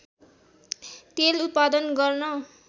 तेल उत्पादन गर्न